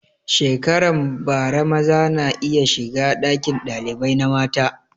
Shekaran bara maza na iya shiga ɗakin ɗalibai na mata